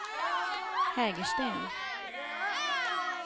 Hägersten